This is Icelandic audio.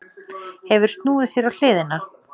Hefur snúið sér á hliðina.